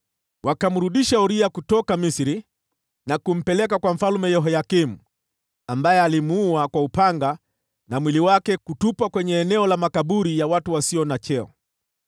Wakamrudisha Uria kutoka Misri na kumpeleka kwa Mfalme Yehoyakimu, ambaye alimuua kwa upanga, na mwili wake kutupwa kwenye eneo la makaburi ya watu wasio na cheo.)